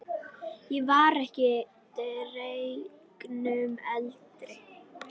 Ég var ekki deginum eldri.